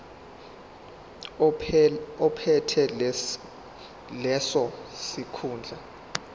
ophethe leso sikhundla